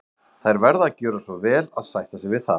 Þær verða að gjöra svo vel að sætta sig við það.